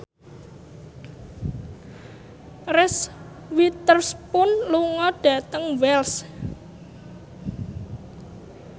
Reese Witherspoon lunga dhateng Wells